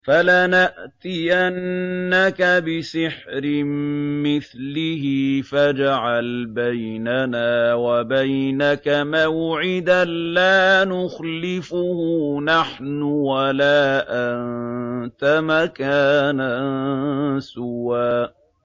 فَلَنَأْتِيَنَّكَ بِسِحْرٍ مِّثْلِهِ فَاجْعَلْ بَيْنَنَا وَبَيْنَكَ مَوْعِدًا لَّا نُخْلِفُهُ نَحْنُ وَلَا أَنتَ مَكَانًا سُوًى